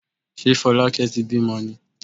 Ṣé Fọlákẹ́ ti bímọ ni?